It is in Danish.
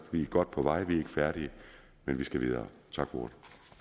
er godt på vej vi er ikke færdige men vi skal videre tak for